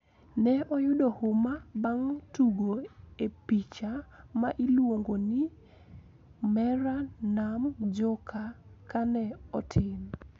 Ne oyudo huma bang` tugo e picha ma iluongo ni "Mera Naam Joker" ka ne otin